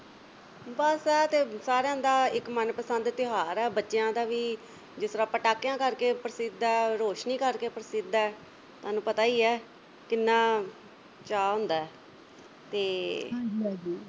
ਬਸ ਆ ਤੇ ਸਾਰਿਆਂ ਦਾ ਇੱਕ ਮਨਪਸੰਦ ਤਿਉਹਾਰ ਆ ਬੱਚਿਆਂ ਦਾ ਵੀ ਜਿਸ ਤਰ੍ਹਾਂ ਪਟਾਕਿਆਂ ਕਰਕੇ ਪ੍ਰਸਿੱਧ ਆ, ਰੋਸ਼ਨੀ ਕਰਕੇ ਪ੍ਰਸਿੱਧ ਆ। ਤੁਹਾਨੂੰ ਪਤਾ ਹੀ ਆ ਕਿੰਨਾ ਚਾਅ ਹੁੰਦਾ ਤੇ